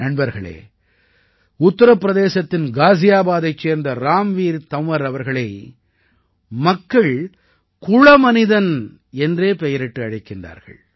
நண்பர்களே உத்தர பிரதேசத்தின் காஜியாபாதைச் சேர்ந்த ராம்வீர் தன்வர் அவர்களை மக்கள் குள மனிதன் என்றே பெயரிட்டு அழைக்கிறார்கள்